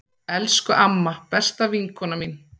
Elsku amma, besta vinkona mín.